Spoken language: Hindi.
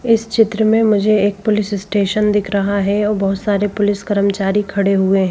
इस चित्र में मुझे एक पुलिस स्टेशन दिख रहा है और बहुत सारे पुलिस कर्मचारी खड़े हुए हैं।